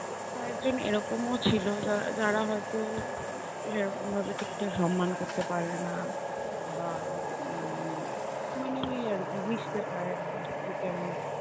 কয়েকজন এরকমও ছিল যা~ যারা হয়তো সেরকম ভাবে ঠিকঠাক সম্মান করতে পারে না। বা উম মানে ওই আর কি মিশতে পারে না একটু কেমন